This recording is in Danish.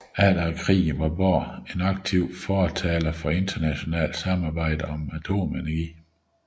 Efter krigen var Bohr en aktiv fortaler for internationalt samarbejde om atomenergi